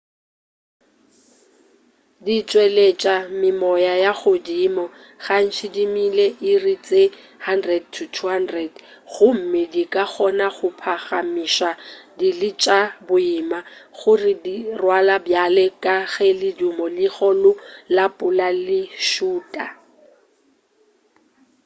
di tšweletša memoya ya godimo gantši dimile/iri tše 100-200 gomme di ka kgona go phagamiša dili tša boima go di rwala bjale ka ge ledimo le legolo la pula le šuta